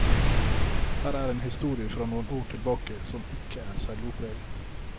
Her er en historie fra noen år tilbake, som ikke er selvopplevd.